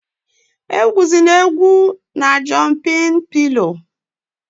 Egwuzịna egwu na jọmpịn pịlọ!